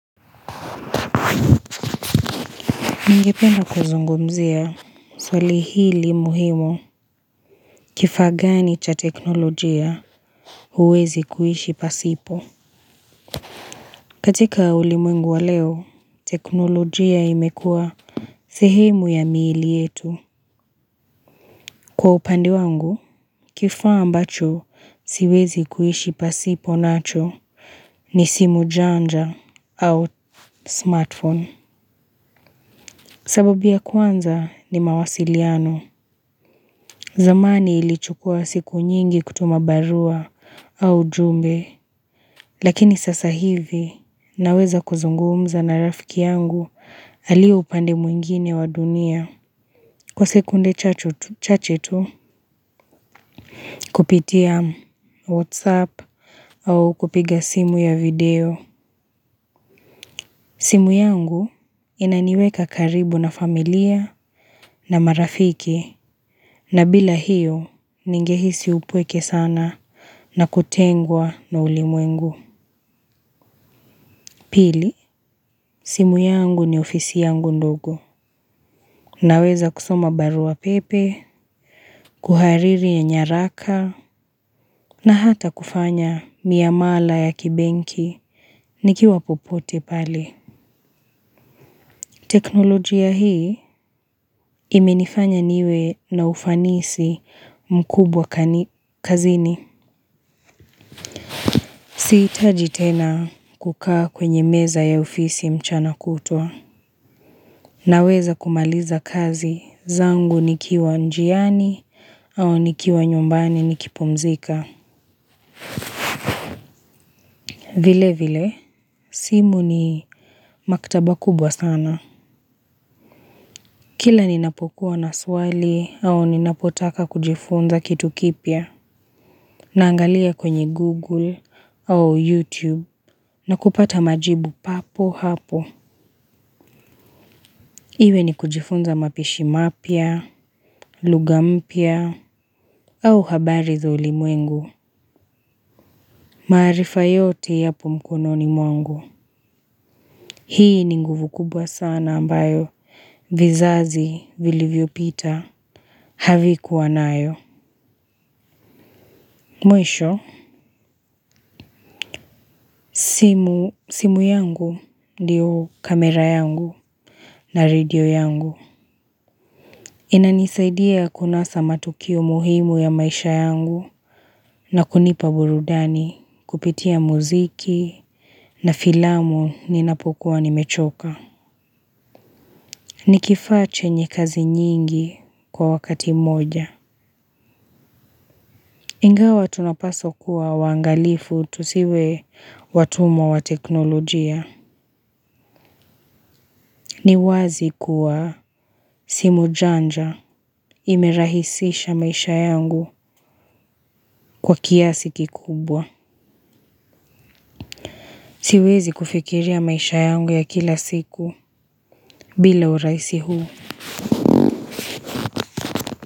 Ningependa kuzungumzia, swali hili muhimu kifaa gani cha teknolojia uwezi kuhishi pasipo. Katika ulimwengu wa leo, teknolojia imekuea sehemu ya miili yetu. Kwa upande wangu, kifaa ambacho siwezi kuhishi pasipo nacho ni simu janja au smartphone. Sababu ya kwanza ni mawasiliano. Zamani ilichukua siku nyingi kutumabarua au jumbe. Lakini sasa hivi naweza kuzungumza na rafiki yangu alio upande mwingine wa dunia. Kwa sekunde chachetu kupitia whatsapp au kupiga simu ya video. Simu yangu inaniweka karibu na familia na marafiki na bila hiyo ningehisi upweke sana na kutengwa na ulimwengu. Pili, simu yangu ni ofisi yangu ndogo. Naweza kusoma barua pepe, kuhariri ya nyaraka, na hata kufanya miamala ya kibenki, nikiwa popote pale. Teknolojia hii imenifanya niwe na ufanisi mkubwa kazini. Siitaji tena kukaa kwenye meza ya ofisi mchana kutua. Naweza kumaliza kazi zangu nikiwa njiani, au nikiwa nyumbani nikipumzika. Vile vile, simu ni maktaba kubwa sana. Kila ninapokuwa na swali, au ninapotaka kujifunza kitu kipia, naangalia kwenye Google, au YouTube, na kupata majibu papo hapo. Iwe ni kujifunza mapishi mapia, lughampia, au habari za uli mwengu. Maarifa yote yapo mkono ni mwangu. Hii ni nguvu kubwa sana ambayo vizazi vilivyo pita havikuwa nayo. Mwisho, simu yangu diyo kamera yangu na radio yangu. Inanisaidia kunasa matukio muhimu ya maisha yangu na kunipa burudani kupitia muziki na filamu ninapokuwa nimechoka. Nikifaa che nyekazi nyingi kwa wakati moja ingawa tunapaswa kuwa wangalifu tusive watumwa wa teknolojia. Ni wazi kuwa simu janja imerahisisha maisha yangu kwa kiasi kikubwa. Siwezi kufikiri a maisha yangu ya kila siku bila u raisi huu.